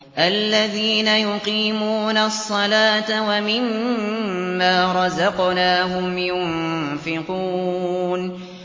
الَّذِينَ يُقِيمُونَ الصَّلَاةَ وَمِمَّا رَزَقْنَاهُمْ يُنفِقُونَ